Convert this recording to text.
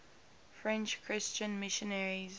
french christian missionaries